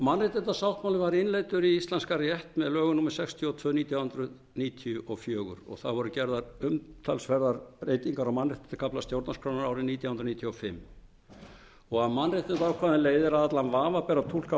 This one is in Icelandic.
mannréttindasáttmálinn var innleiddur í íslenskan rétt með lögum númer sextíu og tvö nítján hundruð níutíu og fjögur og það voru gerðar umtalsverðar breytingar á mannréttindakafla stjórnarskrárinnar árið nítján hundruð níutíu og fimm af mannréttindaákvæðum leiðir að allan vafa ber að túlka